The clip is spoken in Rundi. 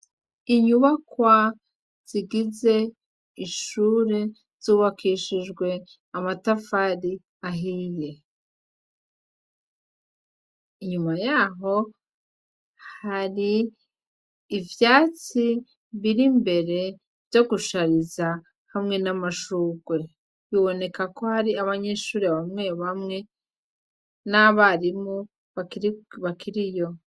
Inyubakwa zigize ishuri zubakishijwe amatafari ahiye, inyuma yaho har' ivyatsi birimbere vyo gushariza n' amashurwe biboneka ko hariho abanyeshure bamwe bamwe n' abarimu bakiriyo.